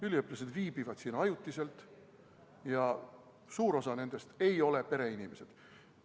Üliõpilased viibivad siin ajutiselt ja suur osa nendest ei ole pereinimesed.